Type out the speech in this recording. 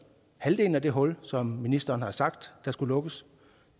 halvdelen af det hul som ministeren har sagt der skulle lukkes